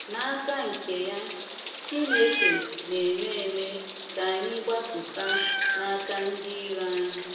N’aka nke ya, Chineke ‘ na - eme eme ka anyị gbapụta ’ n’aka ndị iro anyị.